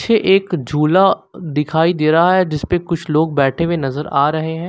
पीछे एक झूला दिखाई दे रहा है जिसपे कुछ लोग बैठे हुए नजर आ रहे हैं।